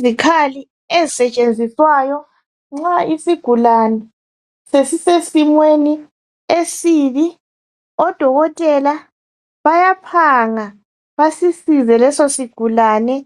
Izikhali ezisetshenziswayo nxa isigulane sesi sesimeni esibi odokotela bayaphanga ngokusi siza leso sigulane